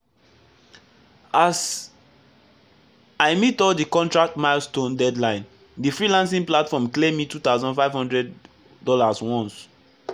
as i meet all the contract milestone deadline the freelancing platform clear me $2500 once.